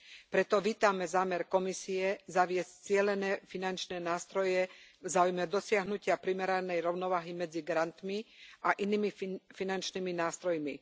Preto vítame zámer Komisie zaviesť cielené finančné nástroje v záujme dosiahnutia primeranej rovnováhy medzi grantmi a inými finančnými nástrojmi.